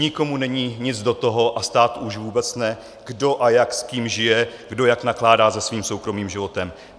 Nikomu není nic do toho, a státu už vůbec ne, kdo a jak s kým žije, kdo jak nakládá se svým soukromým životem.